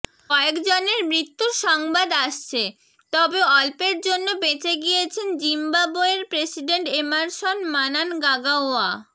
কয়েকজনের মৃত্যুর সংবাদ আসছে তবে অল্পের জন্য বেঁচে গিয়েছেন জিম্বাবোয়ের প্রেসিডেন্ট এমারসন মানানগাগাওয়া